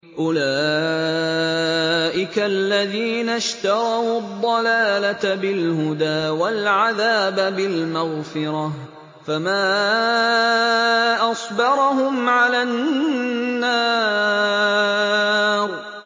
أُولَٰئِكَ الَّذِينَ اشْتَرَوُا الضَّلَالَةَ بِالْهُدَىٰ وَالْعَذَابَ بِالْمَغْفِرَةِ ۚ فَمَا أَصْبَرَهُمْ عَلَى النَّارِ